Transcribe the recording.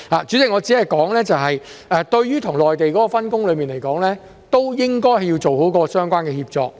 主席，我只是說，對於跟內地的分工，應該要做好相關的協作。